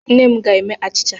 Nne m ga-eme achịcha.